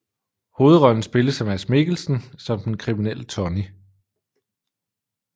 Hovedrollen spilles af Mads Mikkelsen som den kriminelle Tonny